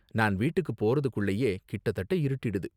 நான் வீட்டுக்கு போறதுக்குள்ளேயே கிட்ட தட்ட இருட்டிடுது.